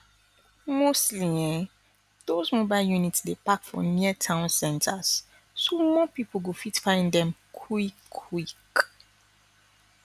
mostly ehnn those mobile units dey park for near town centers so more people go fit find dem quik quik